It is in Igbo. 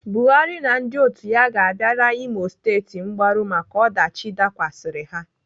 Buhari na ndị otu ya ga-abịara Imo State mgbaru maka ọdachi dakwasịrị ha.